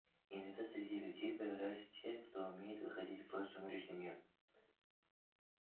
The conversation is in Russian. иногда среди людей появляются те кто умеет выходить в сумеречный мир